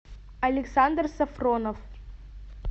александр сафронов